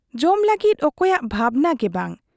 ᱡᱚᱢ ᱞᱟᱹᱜᱤᱫ ᱚᱠᱚᱭᱟᱜ ᱵᱷᱟᱵᱽᱱᱟ ᱜᱮ ᱵᱟᱝ ᱾